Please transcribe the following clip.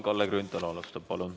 Kalle Grünthal, palun!